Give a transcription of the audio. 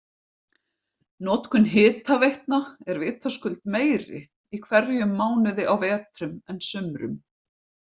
Notkun hitaveitna er vitaskuld meiri í hverjum mánuði á vetrum en sumrum.